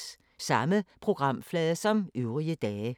Samme programflade som øvrige dage